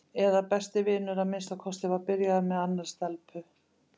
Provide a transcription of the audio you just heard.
eða besti vinur að minnsta kosti var byrjaður með annarri stelpu.